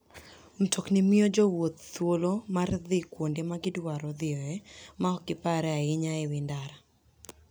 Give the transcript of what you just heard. Mtoknigo miyo jowuoth thuolo mar dhi kuonde ma gidwaro dhiyoe maok giparre ahinya e wi ndara.